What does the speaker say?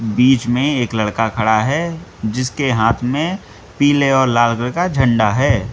बीच में एक लड़का खड़ा है जिसके हाथ में पीले और लाल कलर का झंडा है।